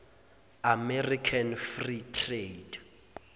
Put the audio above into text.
american free trade